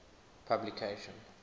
publication